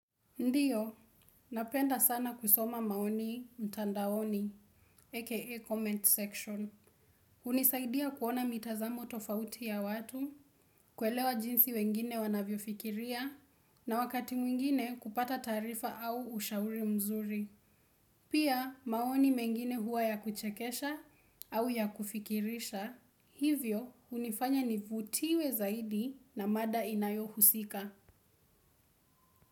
Ndiyo, napenda sana kusoma maoni mtandaoni, aka comment section. Hunisaidia kuona mitazamo tofauti ya watu, kuelewa jinsi wengine wanavyofikiria, na wakati mwingine kupata taarifa au ushauri mzuri. Pia maoni mengine huwa ya kuchekesha, au ya kufikirisha, hivyo hunifanya nivutiwe zaidi na mada inayohusika.